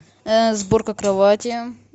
сборка кровати